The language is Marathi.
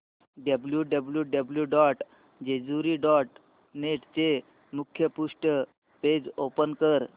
W W W dot Jejuri dot net चे मुखपृष्ठ पेज ओपन कर